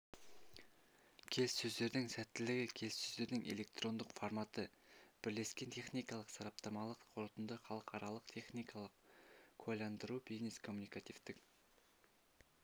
келіссөздердің сәттілігі келіссөздердің электрондық форматы бірлескен техникалық сараптамалық қорытынды халықаралық техникалық куәландыру бизнес-коммуникативтік